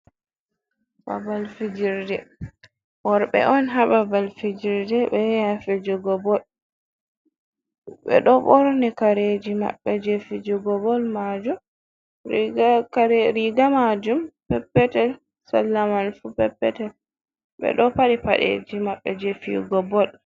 Babal fijirde! Worɓe on haa babal fijirde, ɓe yahi haa fijugo bol. Ɓe ɗo ɓorni kareji maɓɓe je fijugo bol majum. Riiga maajum peppetel, sarla mai fu peppetel. Ɓe ɗo faɗi paɗeeji maɓɓe je fiyugo bol.